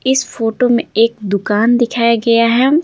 इस फोटो में एक दुकान दिखाया गया है।